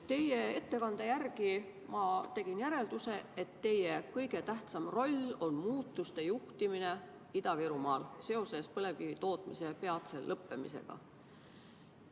Teie ettekandest ma tegin järelduse, et teie kõige tähtsam roll on juhtida muudatusi Ida-Virumaal seoses põlevkivitootmise peatse lõppemisega.